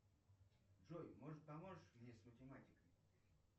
джой может поможешь мне с математикой